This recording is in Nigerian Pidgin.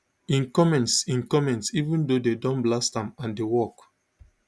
im comments im comments even tho dem don blast am and di work